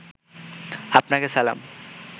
আপনাকে সালাম